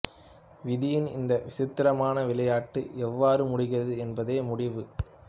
விதியின் இந்த விசித்திரமான விளையாட்டு எவ்வாறு முடிகிறது என்பதே முடிவு